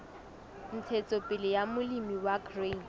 ntshetsopele ya molemi wa grain